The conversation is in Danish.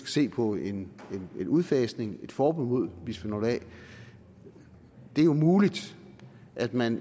se på en udfasning et forbud mod bisfenol a det er jo muligt at man